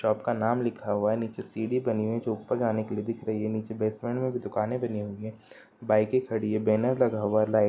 shop का नाम लिखा हुआ है| नीचे सीड़ी बनी हुई है जो ऊपर जाने के लिए दिख रही है| नीचे ट्रेड्स में भी दुकाने बनी हुई है| बाइकें खड़ी है| बैनर लगा हुआ है| लाइट --